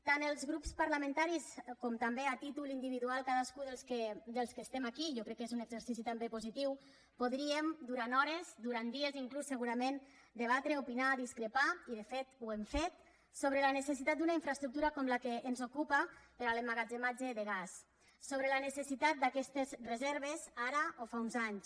tant els grups parlamentaris com també a títol individual cadascú dels que estem aquí i jo crec que és un exercici també positiu podríem durant hores durant dies inclús segurament debatre opinar discrepar i de fet ho hem fet sobre la necessitat d’una infraestructura com la que ens ocupa per a l’emmagatzematge de gas sobre la necessitat d’aquestes reserves ara o fa uns anys